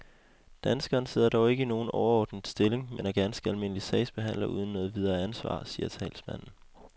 Danskeren sidder dog ikke i nogen overordnet stilling, men er ganske almindelig sagsbehandler uden noget videre ansvar, siger talsmanden.